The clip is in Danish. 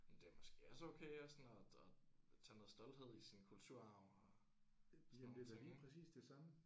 Men det er måske også okay at sådan at at tage noget stolthed i sin kulturarv og sådan nogle ting ik